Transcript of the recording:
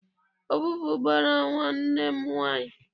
Ọvụvụ gbara nwanne m nwaanyị.